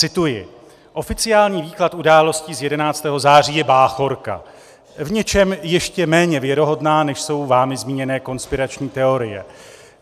Cituji: "Oficiální výklad událostí z 11. září je báchorka, v něčem ještě méně věrohodná, než jsou vámi zmíněné konspirační teorie.